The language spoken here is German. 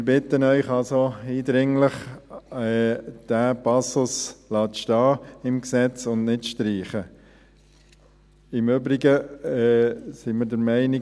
Wir bitten Sie also eindringlich, diesen Passus im Gesetz stehen zu lassen und nicht zu streichen.